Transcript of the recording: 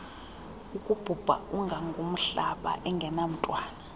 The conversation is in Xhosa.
akubhubha ungangomhlaba engenamntwana